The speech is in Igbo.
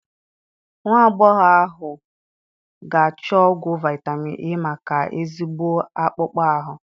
Nwagbogho ahu ga achọ ọgwụ vitamin E maka ezigbo akpụkpọ ahụ